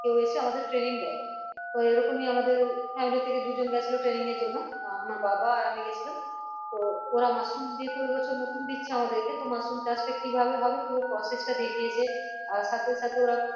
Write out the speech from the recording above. কেউ এসে আমাদের training দেই তো এরকমই আমাদের family থেকে দুজন গেছিলো training এর জন্য আহ আমার বাবা আর আমি গেছিলাম তো ওরা মাশরুমে যেহেতু এই বছর নতুন দিচ্ছে আমাদেরকে তো মাশরুম চাষ টা কিভাবে হবে পুরো process টা দেখিয়েছে আর সাথে সাথে ওরা